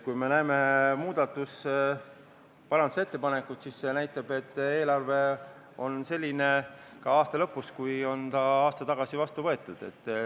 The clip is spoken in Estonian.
Kui me näeme parandusettepanekuid, siis see näitab, et eelarve on ka aasta lõpus selline, nagu ta on aasta tagasi vastu võetud.